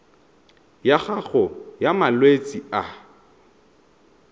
ya gago ya malwetse a